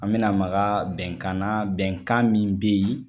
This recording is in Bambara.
An mina maka bɛnkan na bɛnkan min be yen